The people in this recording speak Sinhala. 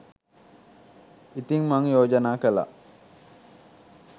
ඉතින් මං යෝජනා කළා